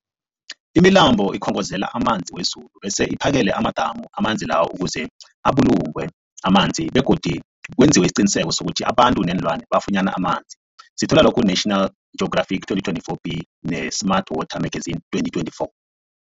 Imilambo ikhongozela amanzi wezulu bese iphakele amadamu amanzi lawo ukuze abulungwe amanzi begodu kwenziwe isiqiniseko sokuthi abantu neenlwana bafunyana amanzi, National Geographic 2024b, ne-Smart Water Magazine 2024.